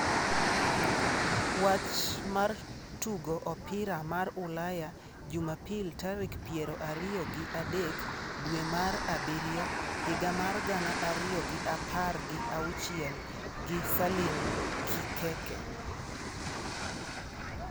Wach mar Tugo Opira mar Ulaya Jumapil tarik piero ariyo gi adek dwe mar abiriyo higa mar gana ariyo gi apar gi auchiel gi Salim Kikeke